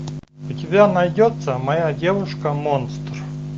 у тебя найдется моя девушка монстр